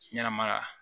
Ɲɛnɛmaya